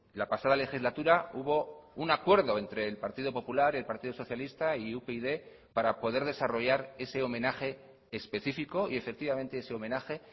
la pasada legislatura hubo un acuerdo entre el partido popular el partido socialista y upyd para poder desarrollar ese homenaje específico y efectivamente ese homenaje